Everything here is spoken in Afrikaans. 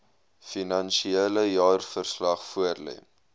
finansiële jaarverslag voorlê